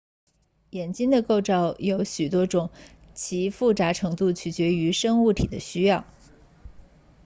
眼睛的构造有许多种其复杂程度取决于生物体的需要